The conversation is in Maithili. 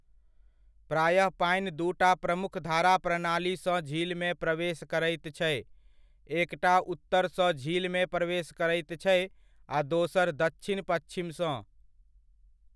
प्रायः पानि दूटा प्रमुख धारा प्रणाली सँ झीलमे प्रवेश करैत छै, एकटा उत्तरसँ झीलमे प्रवेश करैत छै, आ दोसर दच्छिन पच्छिमसँ।